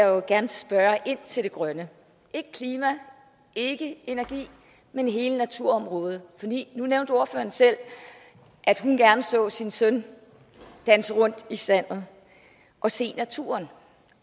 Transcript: jo gerne spørge ind til det grønne ikke klima ikke energi men hele naturområdet nu nævnte ordføreren selv at hun gerne så sin søn danse rundt i sandet og se naturen